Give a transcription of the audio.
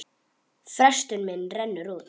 Frestur minn rennur út.